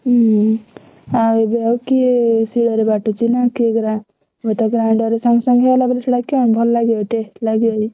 ହୁଁ ଆଉ ଏବେ ଆଉ କିଏ ଶିଳରେ ବାଟୁଛି ନା କିଏ ଗ୍ରା~ ହୁଏତ grinder ସାଙ୍ଗେସାଙ୍ଗ ହେଇଗଲା ବୋଲି ଭଲ ଲାଗିବ taste ଲାଗିବ!